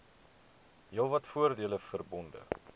heelwat voordele verbonde